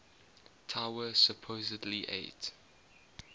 tower supposedly ate